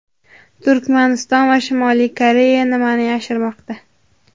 Turkmaniston va Shimoliy Koreya nimani yashirmoqda?.